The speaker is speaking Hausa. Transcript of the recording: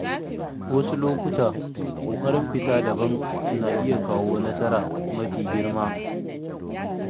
Wasu lokuta, ƙoƙarin fita daban na iya kawo nasara mafi girma.